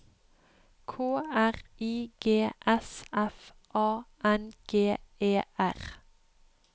K R I G S F A N G E R